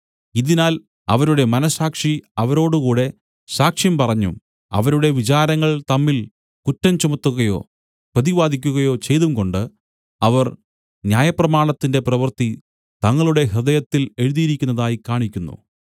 ഇതിനാൽ അവരുടെ മനസ്സാക്ഷി അവരോടുകൂടെ സാക്ഷ്യം പറഞ്ഞും അവരുടെ വിചാരങ്ങൾ തമ്മിൽ കുറ്റം ചുമത്തുകയോ പ്രതിവാദിയ്ക്കുകയോ ചെയ്തുംകൊണ്ട് അവർ ന്യായപ്രമാണത്തിന്റെ പ്രവൃത്തി തങ്ങളുടെ ഹൃദയത്തിൽ എഴുതിയിരിക്കുന്നതായി കാണിക്കുന്നു